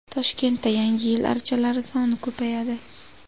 Toshkentda Yangi yil archalari soni ko‘payadi.